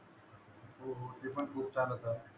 हो ते पण खूप चालवत